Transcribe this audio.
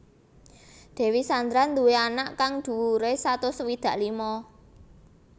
Dewi Sandra nduwé awak kang dhuwuré satus swidak lima